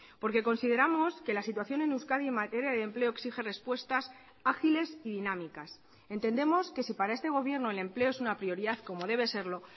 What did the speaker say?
porque consideramos que la situación en euskadi en materia de empleo exige respuestas ágiles y dinámicas entendemos que si para este gobierno el empleo es una prioridad como debe serlo